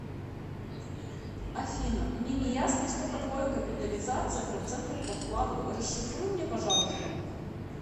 афина мне не ясно что такое капитализация процентов по вкладу расшифруй мне пожалуйста